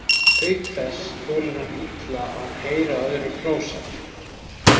Auk þess þolir hann illa að heyra öðrum hrósað.